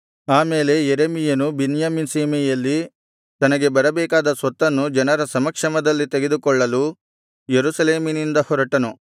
ಆಮೇಲೆ ಯೆರೆಮೀಯನು ಬೆನ್ಯಾಮೀನ್ ಸೀಮೆಯಲ್ಲಿ ತನಗೆ ಬರಬೇಕಾದ ಸ್ವತ್ತನ್ನು ಜನರ ಸಮಕ್ಷಮದಲ್ಲಿ ತೆಗೆದುಕೊಳ್ಳಲು ಯೆರೂಸಲೇಮಿನಿಂದ ಹೊರಟನು